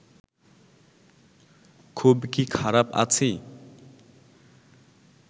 খুব কি খারাপ আছি